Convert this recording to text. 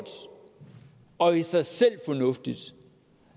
og i sig selv fornuftigt